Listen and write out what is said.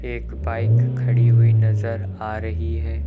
एक बाइक खड़ी हुई नजर आ रही है।